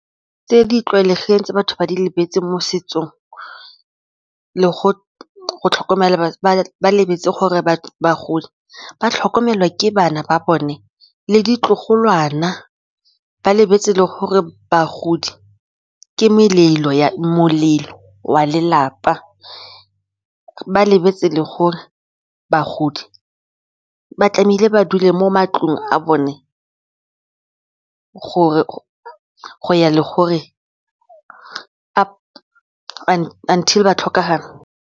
Tse di tlwaelegileng tse batho ba di lebetseng mo setsong le go tlhokomela bagodi, ba lebetse gore batho bagodi ba tlhokomelwa ke bana ba bone le ditlogolwana ba lebetse le gore bagodi ke molelo wa lelapa, ba lebetse le gore bagodi ba tlamehile ba dule mo matlong a bone gore go ya le gore until ba tlhokagala.